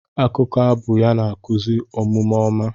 Akụkọ abụ ya na-akụzi omume ọma.